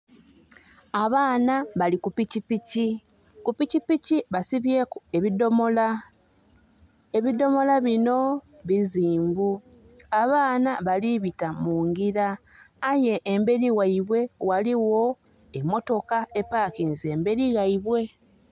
Abaana bali ku pikipiki. Ku pikipiki basibyeku ebidhomola. Ebidhomola bino bizimbu. Abaana bali bita mungira, aye emberi ghaibwe ghaligho emotoka epakinze emberi ghaibwe.